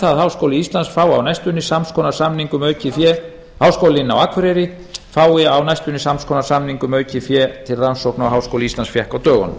að háskólinn á akureyri fái á næstunni sams konar samning um aukið fé til rannsókna og háskóli íslands fékk á dögunum